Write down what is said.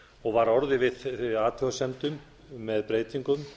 og var orðið við þeim athugasemdum með breytingum